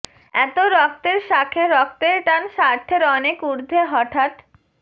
এতো রক্তের সাখে রক্তের টান স্বার্থের অনেক উর্ধ্বে হঠাৎ